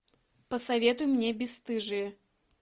посоветуй мне бесстыжие